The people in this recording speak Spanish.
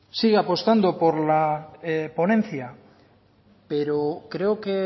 sigue apostando por la ponencia pero creo que